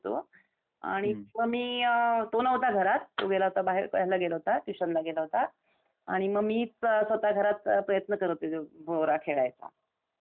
आणि मग मी तो नव्हता घरात तो गेला होता बाहेर, तो ह्याला गेला होता ट्यूशनला गेला होता आणि मग मी स्वतः घरात प्रयत्न करत होते भोवरा खेळायचा. मस्त